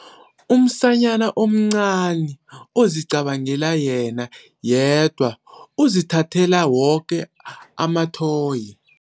Umsanyana omncani ozicabangela yena yedwa uzithathele woke amathoyi.